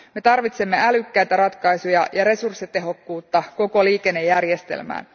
Me tarvitsemme älykkäitä ratkaisuja ja resurssitehokkuutta koko liikennejärjestelmään.